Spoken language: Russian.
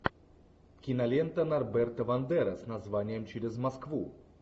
кинолента норберта вандера с названием через москву